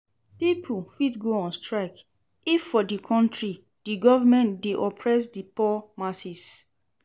Pipo fit go on strike if for di country di government de oppress di poor masses